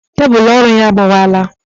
Tébulu ọrụ ya agbawala